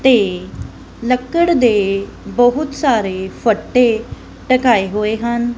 ਤੇ ਲੱਕੜ ਦੇ ਬਹੁਤ ਸਾਰੇ ਫੱਟੇ ਡਕਾਏ ਹੋਏ ਹਨ